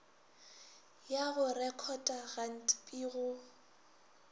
ya go rekhota gantpi go